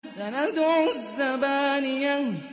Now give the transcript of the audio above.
سَنَدْعُ الزَّبَانِيَةَ